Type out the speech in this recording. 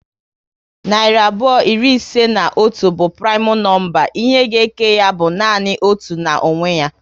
Narị abụọ iri ise na otu bụ primu nọmba. Ihe ga eke ya bụ nanị otu na onwe ya